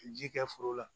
Ji kɛ foro la